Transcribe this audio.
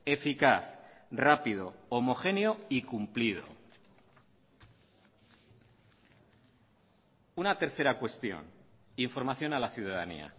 eficaz rápido homogéneo y cumplido una tercera cuestión información a la ciudadanía